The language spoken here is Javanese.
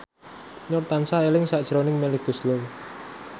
Nur tansah eling sakjroning Melly Goeslaw